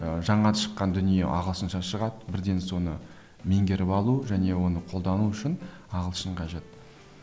ы жаңа шыққан дүние ағылшынша шығады бірден соны меңгеріп алу және оны қолдану үшін ағылшын қажет